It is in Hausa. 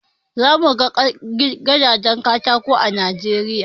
Zamu ga gidajen katako a kasar Najeriya